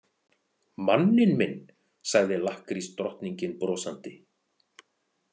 Manninn minn, sagði lakkrísdrottningin brosandi.